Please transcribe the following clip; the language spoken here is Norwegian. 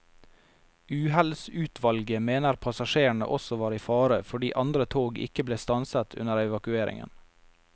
Uhellsutvalget mener passasjerene også var i fare fordi andre tog ikke ble stanset under evakueringen.